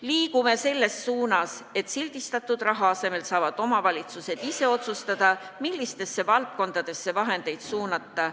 Liigume selles suunas, et sildistatud raha asemel saavad omavalitsused ise otsustada, millistesse valdkondadesse vahendeid suunata.